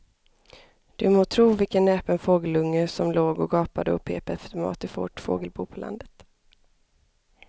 Du må tro vilken näpen fågelunge som låg och gapade och pep efter mat i vårt fågelbo på landet.